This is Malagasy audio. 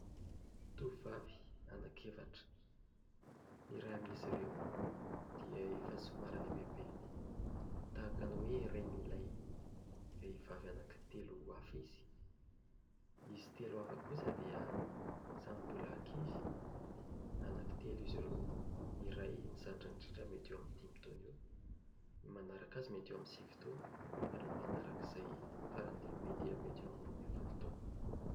Tovovavy anankiefatra. Ny iray amin'izy ireo dia efa somary lehibebe tahaka ny hoe renin'ilay vehivavy anankitelo hafa izy. Izy telo hafa kosa dia samy mbola ankizy. Anankitelo izy ireo. Ny iray zandriny indrindra mety eo amin'ny dimy taona eo, ny manaraka azy mety eo amin'ny sivy taona ary manarak'izay faran'ny lehibe dia mety eo amin'ny roa ambin'ny folo taona.